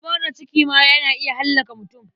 Zubar da ciki ma na iya hallaka mutum.